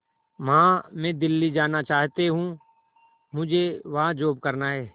मां मैं दिल्ली जाना चाहते हूँ मुझे वहां जॉब करना है